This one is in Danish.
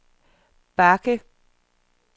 bakke